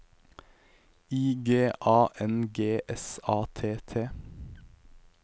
I G A N G S A T T